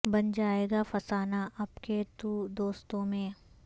بن جائے گا فسانہ اب کے تو دوستوں میں